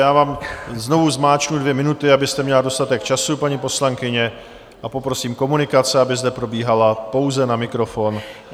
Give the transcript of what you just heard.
Já vám znovu zmáčknu dvě minuty, abyste měla dostatek času, paní poslankyně, a poprosím, komunikace aby zde probíhala pouze na mikrofon.